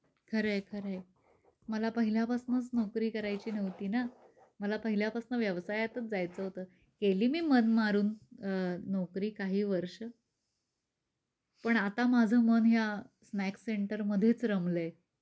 खर आहे खर आहे. मला पहिल्या पासनच नोकरी करायची नव्हती ना मला पहिल्या पासून व्यवसायातच जायच होत. केली मन मारून अ नोकरी काही वर्ष, पण आता माझ मन या स्नॅक्स सेंटर मध्येच रमलय.